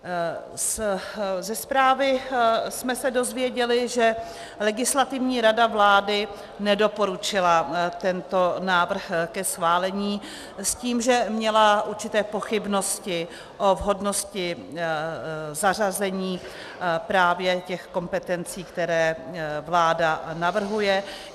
Ze zprávy jsme se dozvěděli, že Legislativní rada vlády nedoporučila tento návrh ke schválení s tím, že měla určité pochybnosti o vhodnosti zařazení právě těch kompetencí, které vláda navrhuje.